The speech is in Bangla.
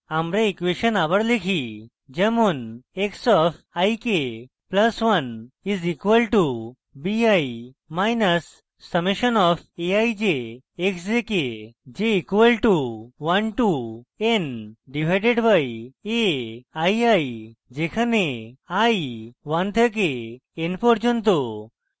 আমরা ইকুয়়েসন আবার লিখি যেমন x of i k + 1 is equal to b minus summation of a i j x j k equal to 1 to n divided by a i i যেখানে i 1 থেকে n পর্যন্ত